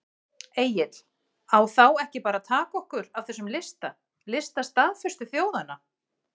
Egill: En á þá ekki bara að taka okkur af þessum lista, lista staðföstu þjóðanna?